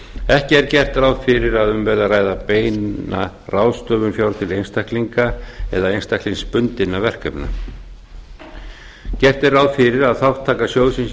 ekki er gert ráð fyrir að um verði að ræða beina ráðstöfun fjár til einstaklinga eða einstaklingsbundinna verkefna gert er ráð fyrir að þátttaka sjóðsins í